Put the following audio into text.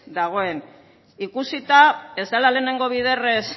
dagoen ikusita ez dela lehenengo biderrez